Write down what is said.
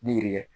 Ni yiri ye